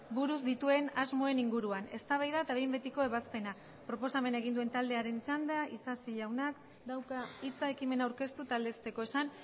buruz dituen asmoen inguruan eztabaida eta behin betiko ebazpena proposamena egin duen taldearen txanda isasi jaunak dauka hitza ekimena aurkeztu eta aldezteko esan